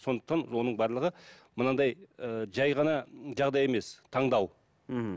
сондықтан оның барлығы мынандай ыыы жай ғана жағдай емес таңдау мхм